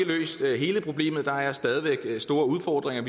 løst hele problemet for der er stadig væk store udfordringer